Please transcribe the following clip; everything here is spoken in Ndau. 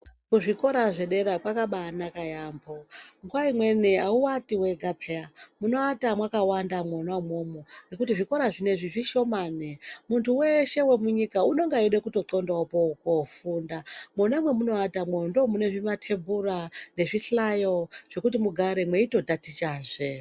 Kuzvikora zvedera kwakabanaka yaambo nguva imweni hauvati vega peya munoata makawanda mwona imwomwo. Ngekuti zvikora zvinoizvi zvishomani muntu veshe vemunyi unenge eida kutitxonda vopo kofunda mona mamunoatamwo ndimo munezvimatembura nezvihlayo zvekuti mugare meitotatichazve.